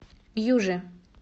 южи